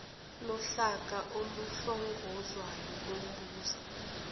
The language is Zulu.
lohlaka oluhlongozwayo lumboza